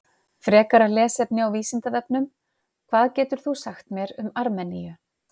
Frekara lesefni á Vísindavefnum: Hvað getur þú sagt mér um Armeníu?